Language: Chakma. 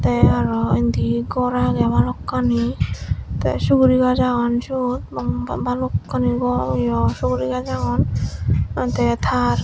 tey aro indi gor agey balokkani tey sugurigaz agon siyot ba balokkani gor yo sugurigaz agon aa tey tar.